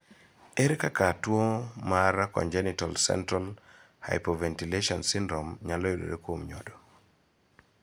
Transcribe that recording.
Ere kaka tuo mar congenital central hypoventilation syndrome nyalo yudore kuom nyodo?